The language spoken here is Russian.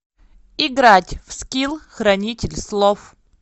играть в скил хранитель слов